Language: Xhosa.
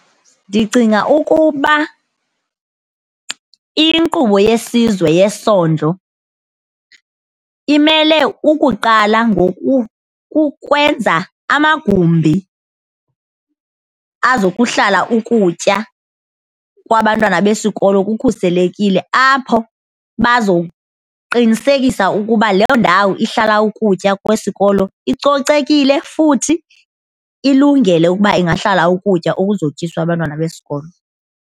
Ndicinga ukuba inkqubo yesizwe yesondlo imele ukuqala ngoku kukwenza amagumbi azokuhlala ukutya kwabantwana besikolo kukhuselekile apho bazoqinisekisa ukuba leyo ndawo ihlala ukutya kwesikolo icocekile futhi ilungele ukuba ingahlala ukutya okuzotyiswa abantwana besikolo.